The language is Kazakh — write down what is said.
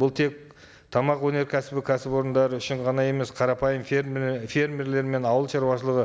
бұл тек тамақ өнеркәсібі кәсіпорындары үшін ғана емес қарапайым фермерлер мен ауыл шаруашылығы